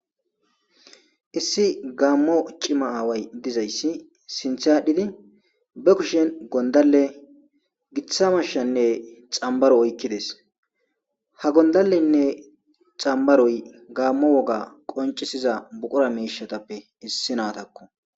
issi gaammo cima aaway dizayssi sinth aadhdhidi be kushen gondalle giza mashshanne xambaro oykkides ha gondallenne xambaroy gaammo woga qoncisiza buqura mishatappe issinaatakko